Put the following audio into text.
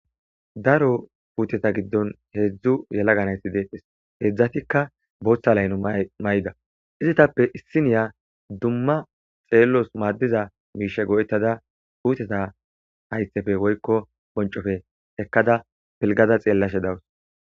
daro puuteta giddon heedzdzu yelaganayti deephes heedzdzatikka booththa layno may7ida izitappe issiniya dumma xeellos maaddiza miishe go7ettada puuteta haythefe woykko boncofe ekkada pilgaza xeellashe dawus